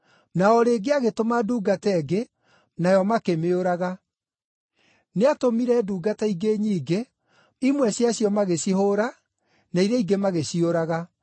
Na o rĩngĩ agĩtũma ndungata ĩngĩ, nayo makĩmĩũraga. Nĩatũmire ndungata ingĩ nyingĩ, imwe ciacio magĩcihũũra, na iria ingĩ magĩciũraga.